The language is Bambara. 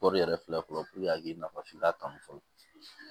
Kɔri yɛrɛ filɛ fɔlɔ a k'i nafa f'i ka kanu fɔlɔ